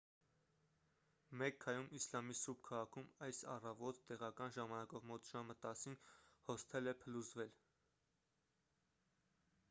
մեքքայում իսլամի սուրբ քաղաքում այս առավոտ տեղական ժամանակով մոտ ժամը 10-ին հոսթել է փլուզվել